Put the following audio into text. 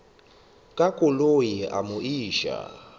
ka koloi a mo iša